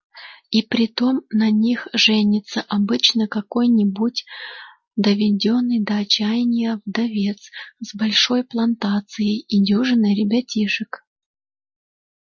и притом на них женится обычно какой-нибудь доведённый до отчаяния вдовец с большой плантацией и дюжиной ребятишек